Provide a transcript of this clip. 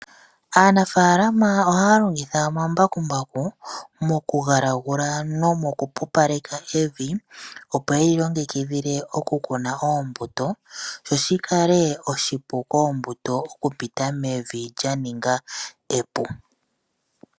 Aanafaalama ohaya longitha omambakumbaku mokugalagula nomo ku pupaleka evi, opo ye li longekidhile okukuna oombuto sho shi kale oshipu koombuto okupita mevi lya ninga epu.